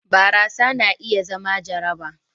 barasa na iya zama jaraba